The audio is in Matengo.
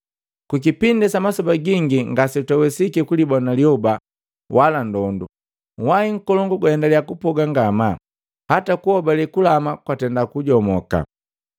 Kukipindi sa masoba gingi ngase twawesiki kulibona lyioba wala ndondu, uhwahi nkolongu gaendalia kupoga ngamaa, hata kuhobale kulama kwa tenda kujomoka.